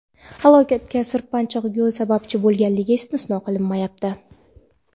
Halokatga sirpanchiq yo‘l sababchi bo‘lganligi istisno qilinmayapti.